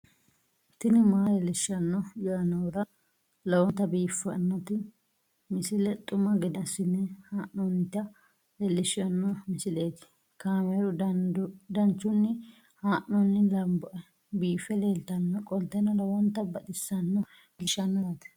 tini maa leelishshanno yaannohura lowonta biiffanota misile xuma gede assine haa'noonnita leellishshanno misileeti kaameru danchunni haa'noonni lamboe biiffe leeeltannoqolten lowonta baxissannoe halchishshanno yaate